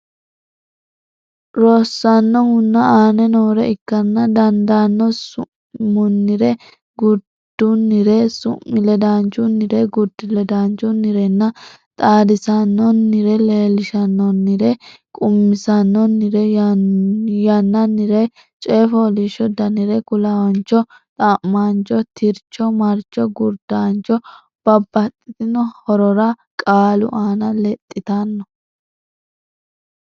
Rossannohuno aane noore ikkara dandaanno Su munnire gurdunnire su mi ledaanchunnire gurdi ledaanchunnirenna xaadisaanonnire Leellishaanonnire qummisaanonnire yannannire Coy fooliishsho danire kulaancho xa maancho tircho marcho gurdancho Babbaxxitino horora qaalu aana lexxitanno.